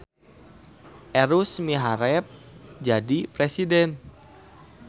Erus miharep jadi presiden